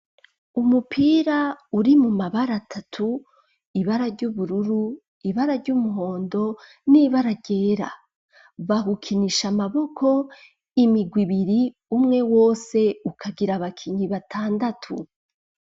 Umupira uri mu mabara atatu ibara ry'ubururu ibara ry'umuhondo n'ibara ryera bawukinisha amaboko imirwi ibiri umwe wose ukagira abakinyi batandatu